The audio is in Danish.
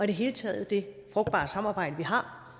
det hele taget det frugtbare samarbejde vi har